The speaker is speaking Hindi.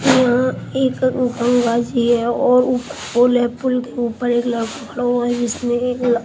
यहां एक गंगा जी हैं और ऊपर पुल है पुल के ऊपर एक लड़का खड़ा हुआ है जिसने ल--